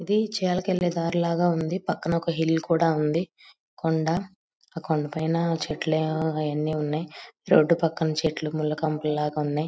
ఇది కెళ్లే దారిలాగుంది .పక్కనొక హిల్ కూడా ఉంది. కొండ ఆ కొండ పైన చెట్లు అవన్నీ ఉన్నాయ్. రోడ్డు పక్కన చెట్లు ముళ్ల కంపల్లాగ ఉన్నాయ్.